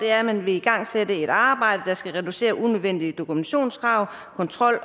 er at man vil igangsætte et arbejde der skal reducere unødvendige dokumentationskrav kontrol